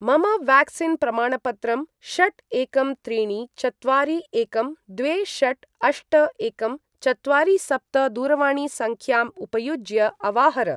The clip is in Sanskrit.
मम व्याक्सीन् प्रमाणपत्रं षट् एकं त्रीणि चत्वारि एकं द्वे षट् अष्ट एकं चत्वारि सप्त दूरवाणीसङ्ख्यां उपयुज्य अवाहर।